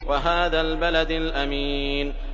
وَهَٰذَا الْبَلَدِ الْأَمِينِ